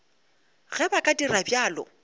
ge ba ka dira bjalo